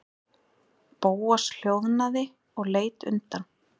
Bóas hljóðnaði og leit undan.